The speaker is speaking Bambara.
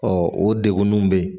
Ɔ o degunnu be yen